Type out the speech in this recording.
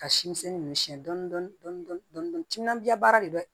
Ka si misɛnnin ninnu siyɛn dɔɔnin dɔɔnin timinan diya baara de do dɛ